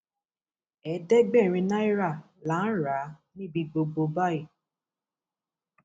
ẹẹdẹgbẹrin náírà là ń rà á níbi gbogbo báyìí